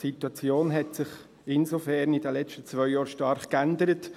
Die Situation hat sich insofern in den letzten zwei Jahren stark geändert.